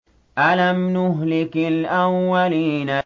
أَلَمْ نُهْلِكِ الْأَوَّلِينَ